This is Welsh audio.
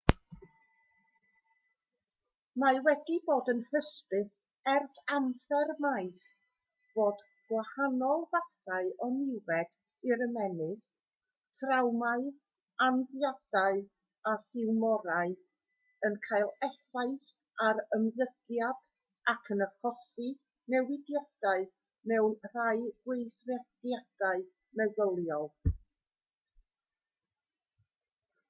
mae wedi bod yn hysbys ers amser maith fod gwahanol fathau o niwed i'r ymennydd trawmâu anafiadau a thiwmorau yn cael effaith ar ymddygiad ac yn achosi newidiadau mewn rhai gweithrediadau meddyliol